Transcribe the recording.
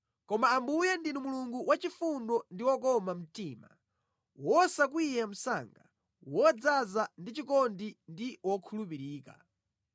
Koma Ambuye ndinu Mulungu wachifundo ndi wokoma mtima, wosakwiya msanga, wodzaza ndi chikondi ndi wokhulupirika.